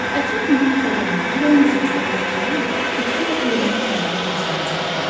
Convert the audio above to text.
Ətraf mühit korlananda yalnız insanlar deyil, bitki və heyvanat aləmi də ziyan çəkir.